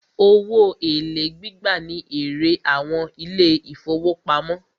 Owó èlé gbígbà ní èrè àwọn ilé ìfọwọ́pamo.